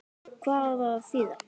Hvað á það að þýða?